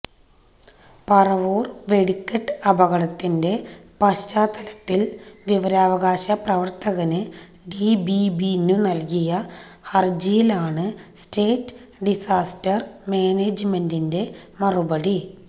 പരവൂര് വെടിക്കെട്ട് അപകടത്തിന്റെ പശ്ചാത്തലത്തില് വിവരാകാശ പ്രവര്ത്തകന് ഡി ബി ബിനു നല്കിയ ഹരജിയിലാണ് സ്റ്റേറ്റ് ഡിസാസ്റ്റര് മാനേജ്മെന്റിന്റെ മറുപടി